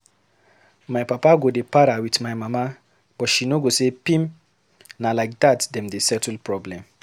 My papa go dey para with my mama but she no go say pim. Na like dat dem dey settle problem.